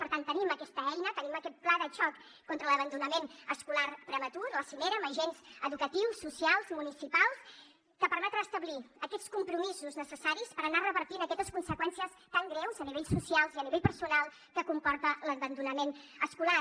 per tant tenim aquesta eina tenim aquest pla de xoc contra l’abandonament escolar prematur la cimera amb agents educatius socials municipals que permetrà establir aquests compromisos necessaris per anar revertint aquestes conseqüències tan greus a nivell social i a nivell personal que comporta l’abandonament escolar